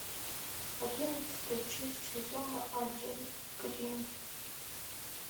одиннадцатая часть сезона один гримм